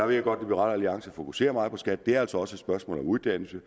ved godt at liberal alliance fokuserer meget på skat det er altså også et spørgsmål om uddannelse